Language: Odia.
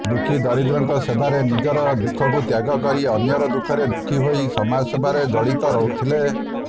ଦୁଃଖୀ ଦରିଦ୍ରଙ୍କ ସେବାରେ ନିଜର ଦୁଃଖକୁ ତ୍ୟାଗ କରି ଅନ୍ୟର ଦୁଃଖରେ ଦୁଃଖି ହୋଇ ସମାଜସେବାରେ ଜଡିତ ରହୁଥିଲେ